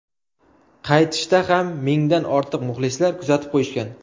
Qaytishda ham mingdan ortiq muxlislar kuzatib qo‘yishgan.